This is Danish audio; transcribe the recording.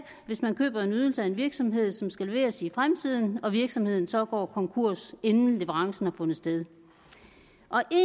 hvis man køber en ydelse af en virksomhed som skal leveres i fremtiden og virksomheden så går konkurs inden leverancen har fundet sted